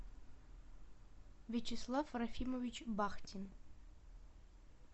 вячеслав рахимович бахтин